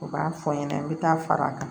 U b'a fɔ n ɲɛna n bɛ taa fara a kan